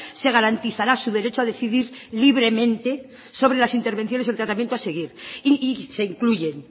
se garantizará su derecho a decidir libremente sobre las intervenciones y el tratamiento a seguir y se incluyen